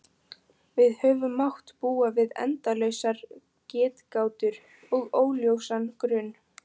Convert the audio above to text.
Við höfum mátt búa við endalausar getgátur og óljósan grun.